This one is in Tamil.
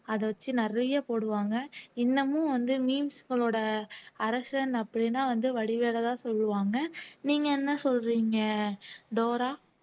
அத வச்சு நிறைய போடுவாங்க இன்னமும் வந்து memes களோட அரசன் அப்படீன்னா வந்து வடிவேலுதான் சொல்லுவாங்க நீங்க என்ன சொல்றீங்க டோரா